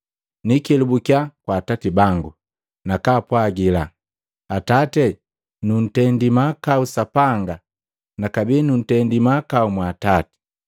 Nikelubukya kwa atati bangu nakaapwagila, ‘Atati, nuntendii mahakau Sapanga na kabee nu nuntendi mahakau mwa atati.’